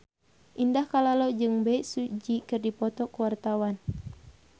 Indah Kalalo jeung Bae Su Ji keur dipoto ku wartawan